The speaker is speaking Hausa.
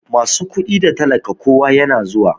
Masu kudi da talaka kowa yana zuwa.